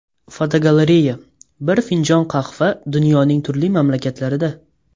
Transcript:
Fotogalereya: Bir finjon qahva dunyoning turli mamlakatlarida.